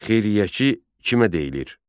Xeyriyyəçi kimə deyilir?